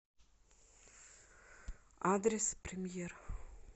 адрес премьер